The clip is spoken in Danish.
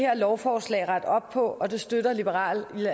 her lovforslag rette op på og det støtter liberal